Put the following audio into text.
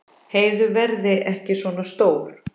Heiðu verði ekki svona stór.